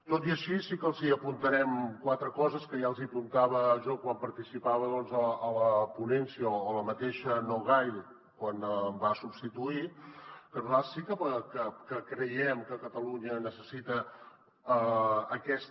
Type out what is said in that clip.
tot i així sí que els apuntarem quatre coses que ja els apuntava jo quan participava a la ponència o la mateixa nogay quan em va substituir que nosaltres sí que creiem que catalunya necessita aquesta